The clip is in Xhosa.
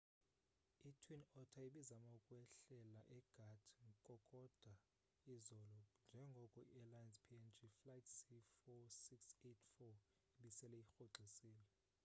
i-twin otter ibizama ukwehlela egat kokoda izolo njengoko iairlines png flight c4684 ibisele irhoxisile